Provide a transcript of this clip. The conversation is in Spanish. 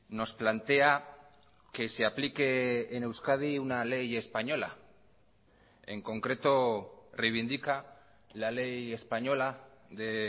nos plantea que se aplique en euskadi una ley española en concreto reivindica la ley española de